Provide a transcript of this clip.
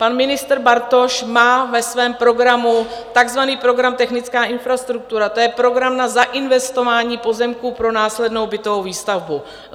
Pan ministr Bartoš má ve svém programu takzvaný program Technická infrastruktura, to je program na zainvestování pozemků pro následnou bytovou výstavbu.